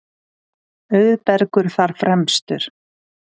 Auðbergur þar fremstur.